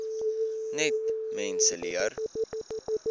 net mense leer